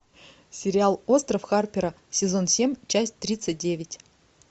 сериал остров харпера сезон семь часть тридцать девять